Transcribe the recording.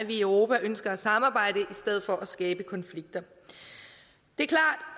at vi i europa ønsker at samarbejde i stedet for at skabe konflikter